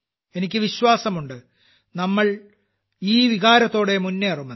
എനിക്ക് വിശ്വാസമുണ്ട് നമ്മൾ ഈ വികാരത്തോടെ മുന്നേറുമെന്ന്